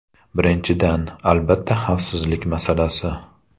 Birinchidan, albatta xavfsizlik masalasi.